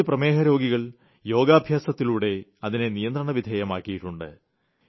കുറച്ചു പ്രമേഹരോഗികൾ യോഗാഭ്യാസത്തിലൂടെ അതിനെ നിയന്ത്രണവിധേയമാക്കിയിട്ടുണ്ട്